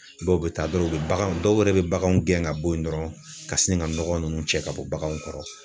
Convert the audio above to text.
Dɔw bɛ taa dɔrɔn u be baganw dɔw yɛrɛ be baganw gɛn ka bɔ yen dɔrɔn ka sin ga nɔgɔ nunnu cɛ ka bɔ baganw kɔrɔ